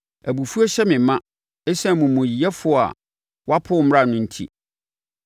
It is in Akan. Abufuo hyɛ me ma, ɛsiane amumuyɛfoɔ a wɔapo wo mmara enti.